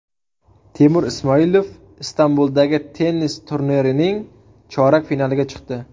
Temur Ismoilov Istanbuldagi tennis turnirining chorak finaliga chiqdi.